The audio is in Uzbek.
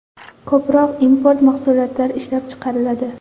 Ko‘proq import mahsulotlar ishlab chiqariladi.